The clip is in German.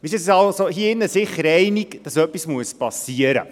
Wir sind uns hier drin sicher einig, dass etwas geschehen muss.